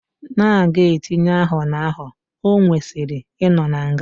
Na aga etinye aho na aho owesiri ino na nga.